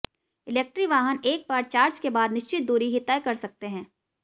electric वाहन एक बार चार्ज के बाद निश्चित दूरी ही तय कर सकते हैं